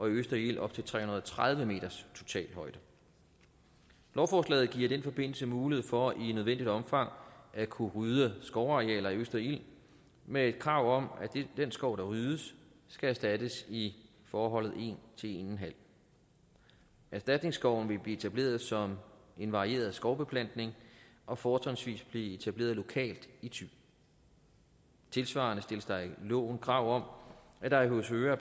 østerild op til tre hundrede og tredive meters totalhøjde lovforslaget giver i den forbindelse mulighed for i nødvendigt omfang at kunne rydde skovarealer i østerild med et krav om at den skov der ryddes skal erstattes i forholdet en en en halv erstatningsskoven vil blive etableret som en varieret skovbeplantning og fortrinsvis blive etableret lokalt i thy tilsvarende stilles der i loven krav om at der i høvsøre